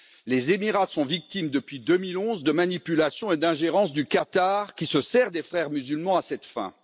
Les Émirats sont victimes, depuis 2011, de manipulation et de l'ingérence du Qatar qui se sert des Frères musulmans à cette fin.